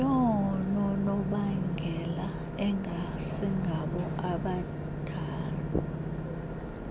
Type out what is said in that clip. yoononobangela engasingabo abendalo